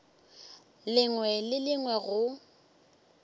lengwe le le lengwe go